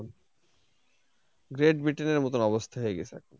Great Britain এর মত অবস্থা হয়ে গেছে এখন।